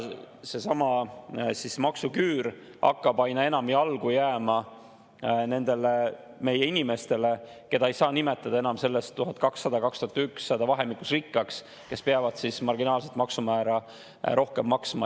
Seesama maksuküür hakkab aina enam jalgu jääma nendele meie inimestele, keda ei saa enam nimetada selles 1200–2100 vahemikus rikkaks, sest nad peavad marginaalset maksumäära rohkem maksma.